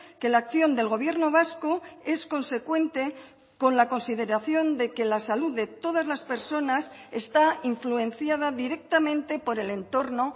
que la acción del gobierno vasco es consecuente con la consideración de que la salud de todas las personas está influenciada directamente por el entorno